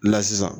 La sisan